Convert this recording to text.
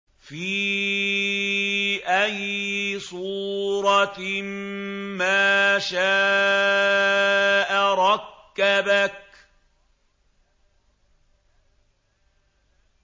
فِي أَيِّ صُورَةٍ مَّا شَاءَ رَكَّبَكَ